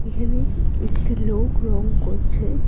এখানে একটি লোক রং করছে।